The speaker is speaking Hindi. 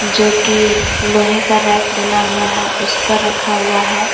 जो की लोहे का रैक बना हुआ है उस पर रखा हुआ है।